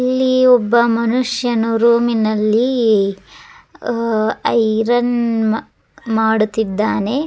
ಇಲ್ಲಿ ಒಬ್ಬ ಮನುಷ್ಯನು ರೂಮಿ ನಲ್ಲಿ ಅಹ್ ಐರನ್ ಮಾ ಮಾಡುತ್ತಿದ್ದಾನೆ.